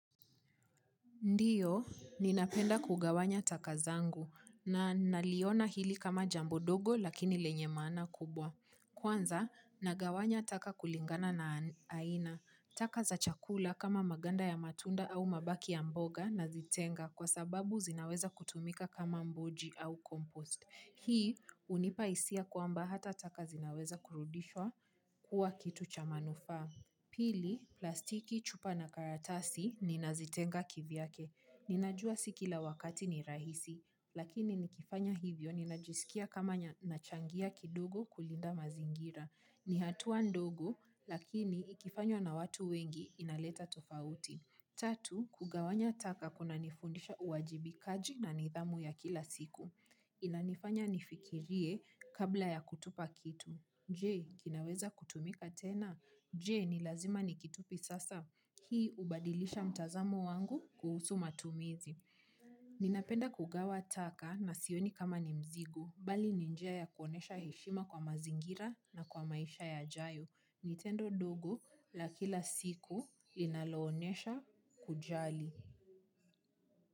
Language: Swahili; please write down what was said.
Ndiyo, ninapenda kugawanya taka zangu na naliona hili kama jambo ndogo lakini lenye maana kubwa. Kwanza, nagawanya taka kulingana na aina. Taka za chakula kama maganda ya matunda au mabaki ya mboga nazitenga kwa sababu zinaweza kutumika kama mboji au compost. Hii hunipa hisia kwamba hata taka zinaweza kurudishwa kuwa kitu cha manufaa. Pili, plastiki, chupa na karatasi ninazitenga kivyake. Ninajua si kila wakati ni rahisi lakini nikifanya hivyo, ninajisikia kama nachangia kidogo kulinda mazingira. Ni hatua ndogo, lakini ikifanywa na watu wengi inaleta tofauti. Tatu, kugawanya taka kunanifundisha uwajibikaji na nidhamu ya kila siku. Inanifanya nifikirie kabla ya kutupa kitu. Je, kinaweza kutumika tena? Je, ni lazima nikitupe sasa? Hii hubadilisha mtazamo wangu kuhusu matumizi. Ninapenda kugawa taka na sioni kama ni mzigo, bali ni njia ya kuonesha heshima kwa mazingira na kwa maisha yajayo. Ni tendo ndogo la kila siku linaloonesha kujali.